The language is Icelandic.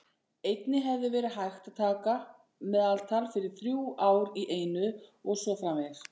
Einnig hefði verið hægt að taka meðaltal fyrir þrjú ár í einu og svo framvegis.